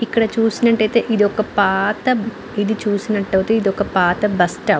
ఇక్కడ చూసినట్టు అయితే ఇది పాత ఇక్కడ చూసినట్టు అయితే ఇది ఒక పాత బస్సు స్టాప్ .